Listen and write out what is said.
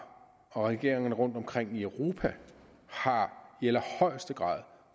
og regeringerne rundt omkring i europa har i allerhøjeste grad